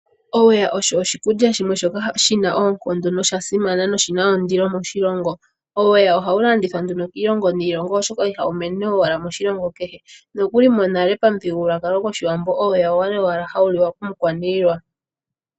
Oowa osho oshikulya shoka shi na oonkondo nosha simana sho oshi na ondilo moshilongo. Oweya ohawu landithwa nduno kiilongo niilongo oshoka ihawu mene owala moshilongo kehe. Monale momuthigululwakalo gwOshiwambo, oweya owa li owala hawu liwa komukwaniilwa.